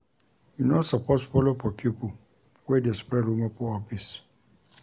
You no suppose folo for pipo wey dey spread rumour for office.